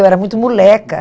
Eu era muito moleca.